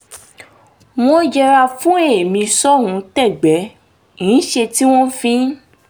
wọ́n yẹra fún ẹ̀mí ṣohun-tẹ́gbẹ́-ń-ṣe tí wọ́n fi